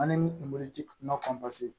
An ni